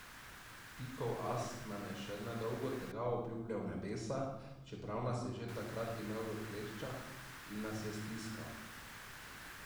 Pikov as nam je še nedolgo tega obljubljal nebesa, čeprav nas je takrat že imel v kleščah in nas je stiskal.